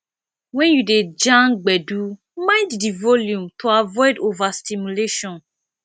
when you dey jam gbedu mind di volume to avoid overstimulation